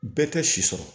Bɛɛ tɛ si sɔrɔ